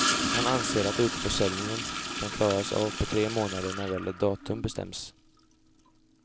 Han anser att utförsäljningen kan klaras av på tre månader när väl ett datum bestämts.